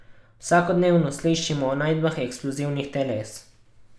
Vsakodnevno slišimo o najdbah eksplozivnih teles.